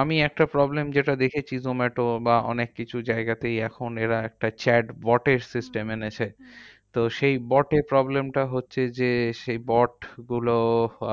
আমি একটা problem যেটা দেখেছি zomato বা অনেককিছু জায়গাতেই। এখন এরা একটা chatbot এর system এনেছে। হম তো সেই bot এ problem টা হচ্ছে যে, সেই bot গুলো